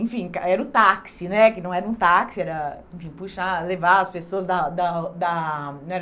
Enfim, era o táxi né, que não era um táxi, era levar as pessoas da da da